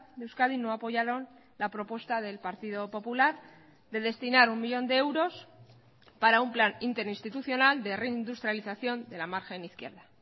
de euskadi no apoyaron la propuesta del partido popular de destinar un millón de euros para un plan interinstitucional de reindustrialización de la margen izquierda